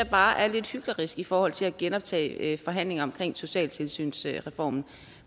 bare er lidt hyklerisk i forhold til at genoptage forhandlinger omkring socialtilsynsreformen